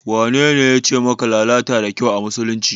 Wanene yace maka lalata da kyau a musulunci?